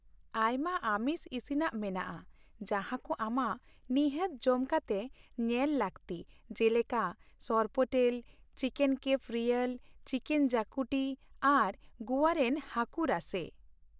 ᱟᱭᱢᱟ ᱟᱢᱤᱥ ᱤᱥᱤᱱᱟᱜ ᱢᱮᱱᱟᱜᱼᱟ ᱡᱟᱦᱟᱸ ᱠᱚ ᱟᱢᱟᱜ ᱱᱤᱦᱟᱹᱛ ᱡᱚᱢ ᱠᱟᱛᱮ ᱧᱮᱞ ᱞᱟᱹᱠᱛᱤ ᱡᱮᱞᱮᱠᱟ sorpotel, chicken cafreal, chicken xacuti ᱟᱨ ᱜᱚᱣᱟ ᱨᱮᱱ ᱦᱟᱹᱠᱩ ᱨᱟᱥᱮ ᱾